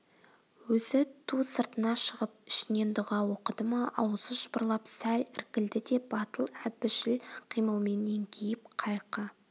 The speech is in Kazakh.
өзі ту сыртына шығып ішінен дұға оқыды ма аузы жыбырлап сәл іркілді де батыл әбіжіл қимылмен еңкейіп қайқы